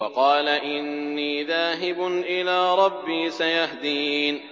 وَقَالَ إِنِّي ذَاهِبٌ إِلَىٰ رَبِّي سَيَهْدِينِ